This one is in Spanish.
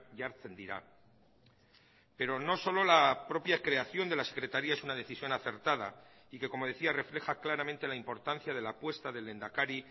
jartzen dira pero no solo la propia creación de la secretaría es una decisión acertada y que como decía refleja claramente la importancia de la apuesta del lehendakari